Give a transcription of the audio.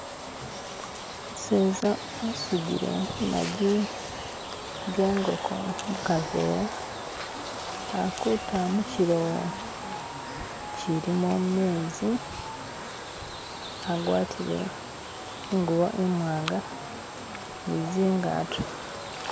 umuseza asudile maji gengoko mukavera akuta muchilowo chilimo mezi agwatile ingubo imwanga nizingato